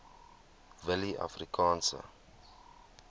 willieafrikaanse